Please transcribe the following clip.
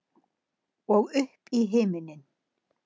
Og upp í himininn.